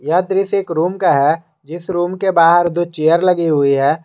यह दृश्य एक रूम का है जिस रूम के बाहर दो चेयर लगी हुई है।